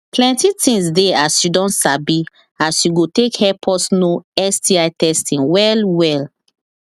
plenty things they as you don sabi as you go take help us know sti testing well well